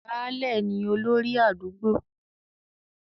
Baálẹ̀ ni olórí àdúgbò.